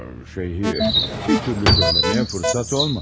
A, şey, bir türlü söyleməyə fırsat olmadı.